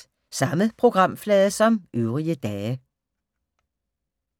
Samme programflade som øvrige dage